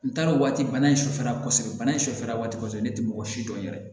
N taara o waati bana in sufɛla kɔsɛbɛ bana in sufɛla waati kɔsɔbɛ ne tɛ mɔgɔ si dɔn yɛrɛ